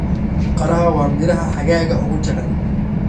Qaraha waa midhaha xagaaga ugu jecel.